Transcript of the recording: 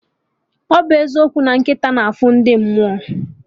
Ọbụ eziokwu na nkịta na afụ ndị mmụọ?